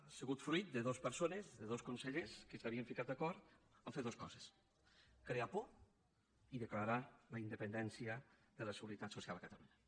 ha sigut fruit de dos persones de dos consellers que s’havien ficat d’acord a fer dos coses crear por i declarar la independència de la seguretat social a catalunya